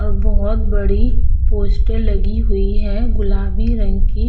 आ बहोत बड़ी पोस्टर लगी हुई है गुलाबी रंग की।